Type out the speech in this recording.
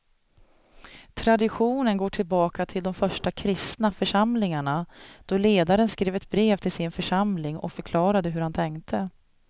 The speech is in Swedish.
Traditionen går tillbaka till de första kristna församlingarna då ledaren skrev ett brev till sin församling och förklarade hur han tänkte.